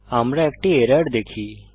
আমরা একটি এরর দেখি